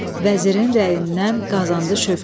Vəzirin rəyindən qazandı şövkət.